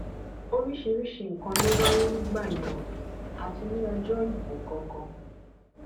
oríṣiríṣiì nǹkan ló wáyé nígbà yẹn o àti ní ọjọ ìbò gangan